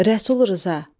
Rəsul Rza,